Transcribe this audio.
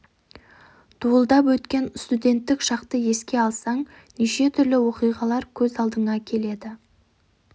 дуылдап өткен студенттік шақты еске алсаң неше түрлі оқиғалар көз алдыңа келеді